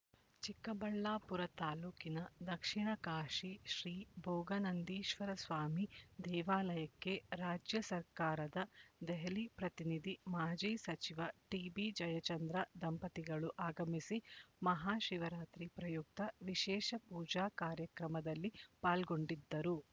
ಚಿಕ್ಕಬಳ್ಳಾಪುರ ತಾಲ್ಲೂಕಿನ ದಕ್ಷಿಣ ಕಾಶಿ ಶ್ರೀ ಭೋಗನಂದೀಶ್ವರಸ್ವಾಮಿ ದೇವಾಲಯಕ್ಕೆ ರಾಜ್ಯ ಸರ್ಕಾರದ ದೆಹಲಿ ಪ್ರತಿನಿಧಿ ಮಾಜಿ ಸಚಿವ ಟಿಬಿ ಜಯಚಂದ್ರ ದಂಪತಿಗಳು ಆಗಮಿಸಿ ಮಹಾ ಶಿವರಾತ್ರಿ ಪ್ರಯುಕ್ತ ವಿಶೇಷ ಪೂಜಾ ಕಾರ್ಯಕ್ರಮದಲ್ಲಿ ಪಾಲ್ಗೊಂಡಿದ್ದರು